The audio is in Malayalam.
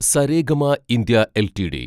Saregama India LTD